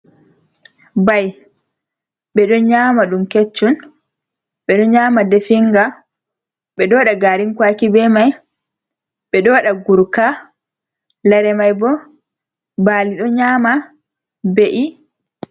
Ɓai ɓe ɗo nyama ɗum keccum. Ɓe ɗo nyama ɗefinga ɓe ɗo waɗa garin kwaki be mai ɓe ɗo wadada guruka lare mai bo bali ɗo nyama be’i.